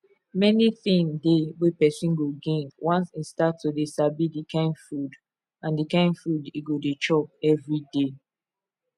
many thing dey wey person go gain once e start to dey sabi the kkind food the kkind food e go dey chop every day